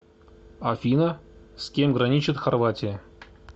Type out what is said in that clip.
афина с кем граничит хорватия